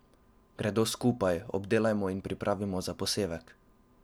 Gredo skupaj obdelajmo in pripravimo za posevek.